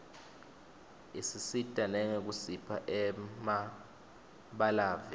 isisita nangekusipha emabalave